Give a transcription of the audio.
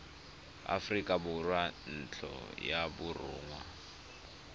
aforika borwa ntlo ya borongwa